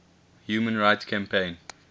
human rights campaign